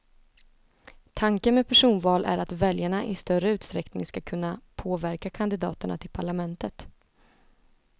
Tanken med personval är att väljarna i större utsträckning ska kunna påverka kandidaterna till parlamentet.